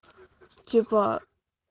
типа